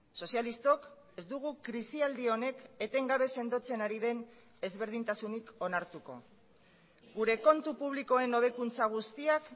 sozialistok ez dugu krisialdi honek etengabe sendotzen ari den ezberdintasunik onartuko gure kontu publikoen hobekuntza guztiak